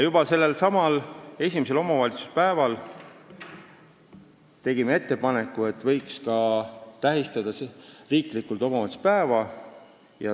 Juba sellelsamal esimesel omavalitsuspäeval tegime ettepaneku, et võiks ka riiklikult tähistada omavalitsuspäeva.